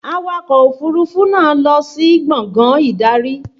Awakọ̀ òfúrufú náà lọ sí gbàngán ìdarí